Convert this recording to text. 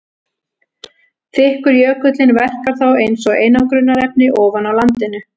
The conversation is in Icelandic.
Þykkur jökullinn verkar þá eins og einangrunarefni ofan á landinu.